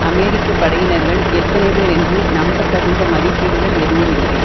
அமெரிக்க படையினர்கள் எத்தனைபேர் என்று நம்பத்தகுந்த மதிப்பீடுகள் எதுவுமில்லை